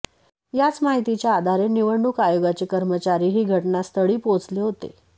याच माहितीच्या आधारे निवडणूक आयोगाचे कर्मचारी ही घटनास्थळी पोहचले होते